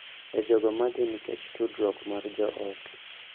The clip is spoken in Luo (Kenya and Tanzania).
E jogo madhi nikech tudruok mar joot